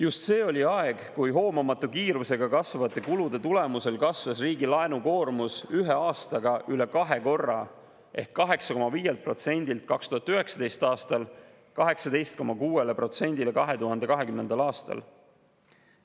Just see oli aeg, kui hoomamatu kiirusega kasvavate kulude tulemusel kasvas riigi laenukoormus ühe aastaga üle kahe korra ehk 8,5%‑lt 2019. aastal 18,6%‑le 2020. aastal.